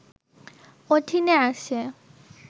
অধীনে আসে